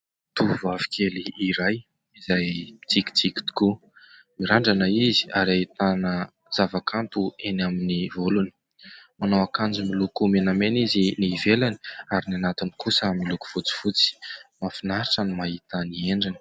Tovovavy kely iray izay mitsikitsiky tokoa. Mirandrana izy, ary ahitana zava-kanto eny amin'ny volony. Manao akanjo miloko menamena izy ny ivelany, ary ny anatiny kosa miloko fotsifotsy. Mahafinaritra ny mahita ny endriny.